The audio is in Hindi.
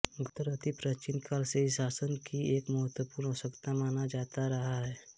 गुप्तचर अति प्राचीन काल से ही शासन की एक महत्वपूर्ण आवश्यकता माना जाता रहा है